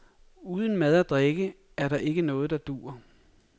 Uden mad og drikke er der ikke noget der duer.